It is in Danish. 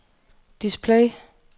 display